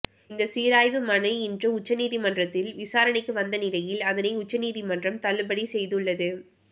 இந்த சீராய்வு மனு இன்று உச்சநீதிமன்றத்தில் விசாரணைக்கு வந்த நிலையில் அதனை உச்சநீதிமன்றம் தள்ளுபடி செய்துள்ளது